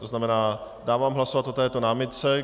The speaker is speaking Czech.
To znamená dávám hlasovat o této námitce.